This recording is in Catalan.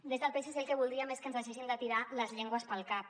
des del psc el que voldríem és que ens deixéssim de tirar les llengües pel cap